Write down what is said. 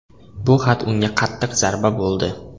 Bu xat unga qattiq zarba bo‘ldi.